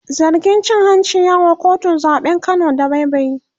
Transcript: zargin cin hanci ya wa kotun zaɓen Kano dabaibayi